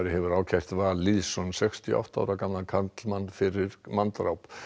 hefur ákært Val Lýðsson sextíu og átta ára gamlan karlmann fyrir manndráp